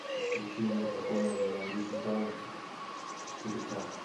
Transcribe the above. включи мне погоня за ледниками четыре ка